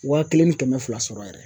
Waa kelen ni kɛmɛ fila sɔrɔ yɛrɛ